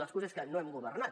l’excusa és que no hem governat